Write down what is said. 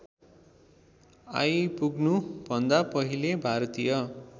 आइपुग्नुभन्दा पहिले भारतीय